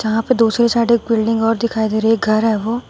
यहाँ पे दूसरी साइड एक बिल्डिंग और दिखाई दे रही है एक घर है वो।